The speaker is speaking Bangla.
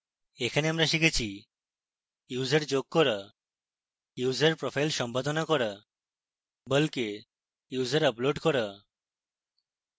এখানে আমরা শিখেছি: